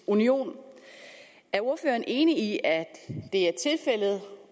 union er ordføreren enig i at det er tilfældet